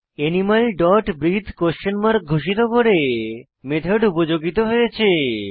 animal dot ব্রিথে question mark ঘোষিত করে মেথড উপযোগিত হয়েছে